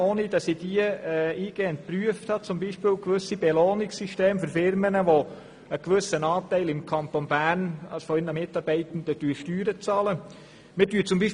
Eine Möglichkeit wären Belohnungssysteme für Unternehmen, bei denen ein gewisser Prozentsatz der Mitarbeitenden im Kanton Bern Steuern bezahlt.